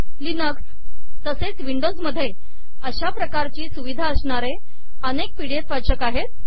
Linux तसेच Windows मध्ये अशा प्रकारची सुविधा असणारे अनेक पी डी एफ वाचक आहेत